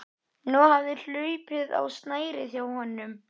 Kíghósti er sjúkdómur af völdum staflaga bakteríu.